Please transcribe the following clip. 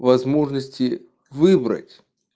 возможности выбрать